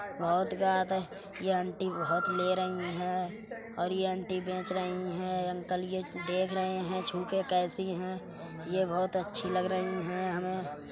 बोहत ज्ञात है ये आंटी बहोत ले रहीं हैं और ये आंटी बेच रहीं हैं अंकल ये देख रहे हैं छु के कैसी हैं ये बहोत अच्छी लग रहीं हैं हमे।